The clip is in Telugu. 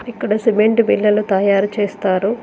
ఇక్కడ సిమెంట్ బిళ్ళలు తయారు చేస్తారు.